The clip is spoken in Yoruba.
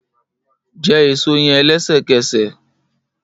Jẹ eso yẹn lẹsẹkẹsẹ!